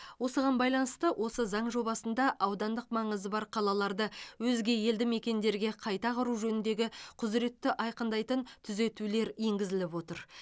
осыған байланысты осы заң жобасында аудандық маңызы бар қалаларды өзге елді мекендерге қайта құру жөніндегі құзыретті айқындайтын түзетулер енгізіліп отыр